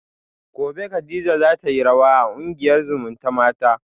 gobe kadija zatayi rawa da kungiyar zumutamata